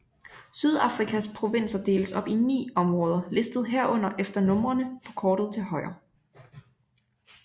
Sydafrikas provinser deles op i 9 områder listet herunder efter numrene på kortet til højre